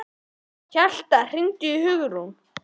Hjalta, hringdu í Hugrúnu.